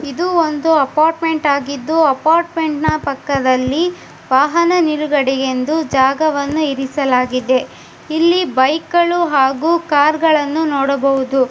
ಇದು ಒಂದು ಅಪಾರ್ಟ್ಮೆಂಟ್ ಆಗಿದ್ದು ಅಪಾರ್ಟ್ಮೆಂಟ್ನ ಪಕ್ಕದಲ್ಲಿ ವಾಹನ ನಿಲುಗಡೆ ಎಂದು ಜಾಗವನ್ನು ಇರಿಸಲಾಗಿದೆ ಇಲ್ಲಿ ಬೈಕಗಳು ಹಾಗು ಕಾರಗಳನ್ನು ನೋಡಬಹುದು.